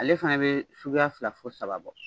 Ale fana bɛ suguya fila fɔ saba bɔ